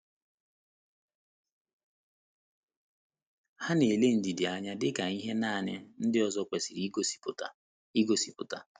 Ha na - ele ndidi anya dị ka ihe nanị ndị ọzọ kwesịrị igosipụta. igosipụta.